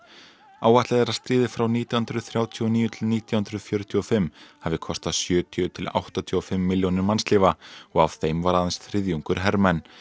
áætlað er að stríðið frá nítján hundruð þrjátíu og níu til nítján hundruð fjörutíu og fimm hafi kostað sjötíu til áttatíu og fimm milljónir mannslífa og af þeim var aðeins þriðjungur hermenn